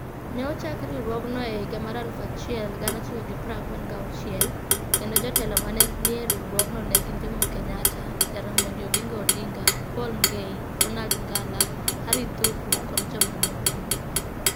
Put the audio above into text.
Ne ochak riwruogno e higa 1946, kendo jotelo ma ne ni e riwruogno ne gin Jomo Kenyatta, Jaramogi Oginga Odinga, Paul Ngei, Ronald Ngala, Harry Thuku, kod jomamoko.